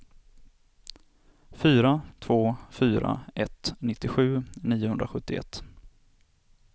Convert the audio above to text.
fyra två fyra ett nittiosju niohundrasjuttioett